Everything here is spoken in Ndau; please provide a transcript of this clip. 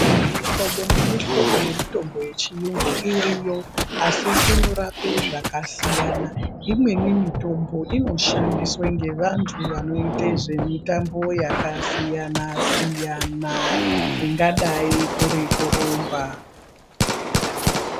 Mihlobo nemihlobo yemitombo yechiyungu iriyo asi ino rape zvakasiyana imweni mitombo ino shandiswa ngevantu vanoita zvemitambo yakasiyana ingadai ngekurumba.